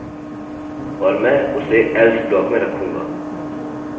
मैं इसे यहाँ नीचे लाऊँगा और मैं उसे else ब्लॉक में रखूँगा